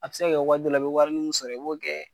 A bi se ka kɛ waati dɔ la i bɛ warinin min sɔrɔ i b'o kɛ.